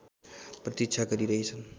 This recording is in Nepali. प्रतिक्षा गरिरहेछन्